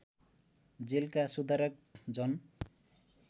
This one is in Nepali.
जेलका सुधारक जन